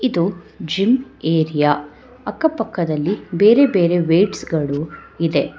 ಇದು gym area ಅಕ್ಕ ಪಕ್ಕದಲ್ಲಿ ಬೇರೆ ಬೇರೆ ವೇಟ್ಸ್ ಗಳು ಇದೆ.